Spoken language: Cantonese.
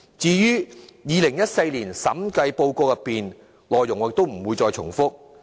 至於2014年的審計報告，我不再重複其內容。